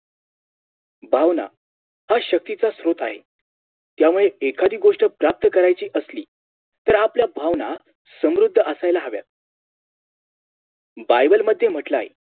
भावना हा शक्तीचा स्त्रोत आहे त्यामुळे एखादी गोष्ट प्राप्त करायची असली तर आपल्या भावना समृद्ध असायला हव्यात Bible मध्ये म्हटंलाय